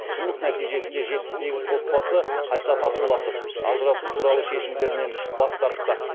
жұмыс нәтижесінде жетпіс сегіз отбасы қайта татуласып ажырасу туралы шешімдерінен бас тартты